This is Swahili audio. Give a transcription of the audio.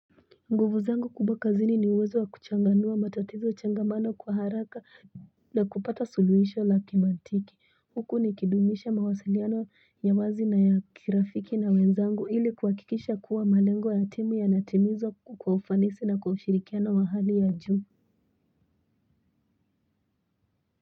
Nguvu zangu kubwa kazini ni uwezo wa kuchanganua matatizo changamano kwa haraka na kupata suluhisho la kimantiki huku nikidumisha mawasiliano ya wazi na ya kirafiki na wenzangu hili kuhakikisha kuwa malengo ya timu yanatimizwa kwa ufanisi na kwa ushirikiano wa hali ya juu.